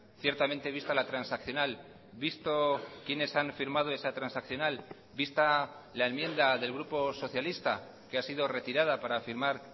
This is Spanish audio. ciertamente vista la transaccional visto quienes han firmado esa transaccional vista la enmienda del grupo socialista que ha sido retirada para firmar